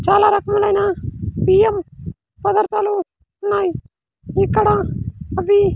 చాలా రకములైన బియ్యం ఉన్నాయ్ ఇక్కడ అవి--